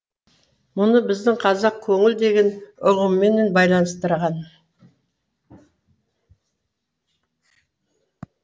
мұны біздің қазақ көңіл деген ұғыммен байланыстырған